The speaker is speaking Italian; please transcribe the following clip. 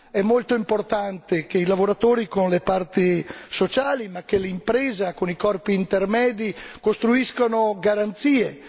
È molto importante che i lavoratori con le parti sociali e l'impresa con i corpi intermedi costruiscano garanzie.